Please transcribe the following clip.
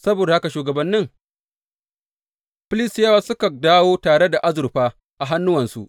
Saboda haka shugabannin Filistiyawa suka dawo tare da azurfa a hannuwansu.